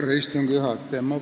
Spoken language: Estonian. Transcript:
Aitäh, istungi juhataja!